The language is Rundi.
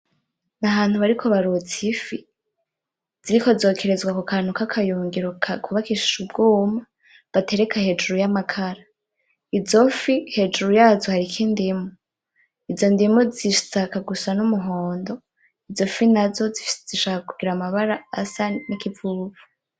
Ni ahantu bariko barotsa ifi. Ziriko zokerezwa kukantu k'akayungiro kubakishijwe ubwuma, batereka hejuru y'amakara. Izo fi hejuru yazo hariko indimu . Izo ndimu zishaka gusa n'umuhondo, izo fi nazo zishaka kugira amabara asa n'ikivuvu.